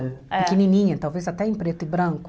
Pequenininha, talvez até em preto e branco.